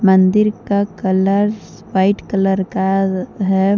मंदिर का colours white colour का अह है।